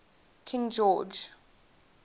king george